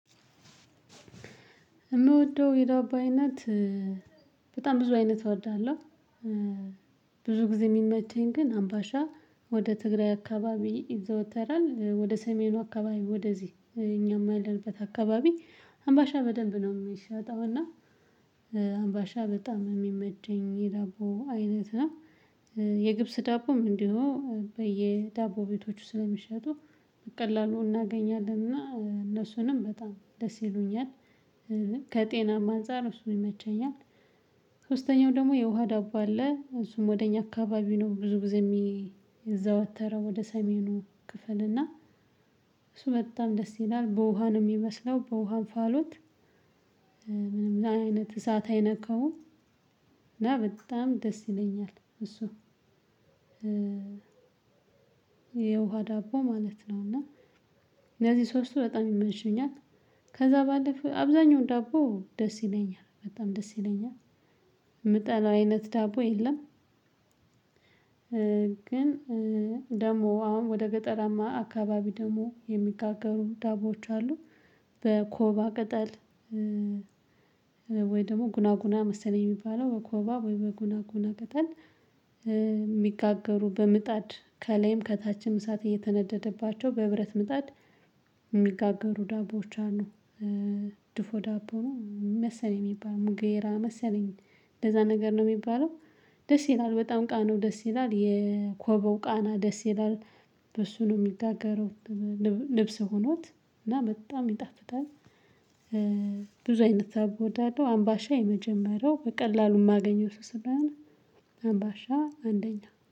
የምወደው የዳቦ አይነት በጣም ብዙ አይነት እወድሃለሁ። ብዙ ጊዜ የሚመቸኝ ግን አምባሻ ወደ ትግራይ አካባቢ ይዘወተራል ወደ ሰሜኑ አካባቢ ወደዚህ እኛም ያለንበት አካባቢ አምባሻ በደንብ ነው የሚሸጠው። እና አምባሻ በጣም የሚመቸኝ የዳቦ አይነት ነው። የገብስ ዳቦም እንዲሁ በየዳቦ ቤቶቹ ስለሚሸጡ ቀላሉን እናገኛለን እና እነሱንም በጣም ደስ ይሉኛል። ከጤና ማንፀር እሱ ይመቸኛል። ሶስተኛው ደግሞ የውሃ ዳቦ አለ እሱም ወደ እኛ አካባቢ ነው ብዙ ጊዜ የሚዘወተረው ወደ ሰሜኑ ክፍል እና። እሱ በጣም ደስ ይላል በውሃ ነው የሚመስለው በውሃ አንፋሎት። ምንም ለአይነት እዛት አይነካውም አይነካሁም። እና በጣም ደስ ይለኛል እሱ። የውሃ ዳቦ ማለት ነው። እና እነዚህ ሶስቱ በጣም ይመቹኛል። ከዛ ባለፈ አብዛኛው ዳቦ ደስ ይለኛል በጣም ደስ ይለኛል። የምጠላው አይነት ዳቦ የለም። ግን ደግሞ አሁን ወደ ገጠራማ አካባቢ ደግሞ የሚጋገሩ ዳቦዎች አሉ። በኮባ ቅጠል። ወይ ደግሞ ጉና ጉና መሰለኝ የሚባለው በኮባ ወይ በጉና ጉና ቅጠል። የሚጋገሩ በምጣድ ከላይም ከታችም እሳት እየተነደደባቸው በህብረት ምጣድ የሚጋገሩ ዳቦዎች ነው። ድፎ ዳቦ ነው መሰለኝ የሚባለው ጌራ መሰለኝ እንደዛ ነገር ነው የሚባለው። ደስ ይላል በጣም ቃኑ ደስ ይላል የኮበው ቃና ደስ ይላል። በሱ ነው የሚጋገረው። ልብስ ሆኖት እና በጣም ይጣፍጣል። ብዙ አይነት ዳቦ እዳለሁ አምባሻ የመጀመሪያው በቀላሉ የማገኘው እሱ ስለሆነ አምባሻ አንደኛ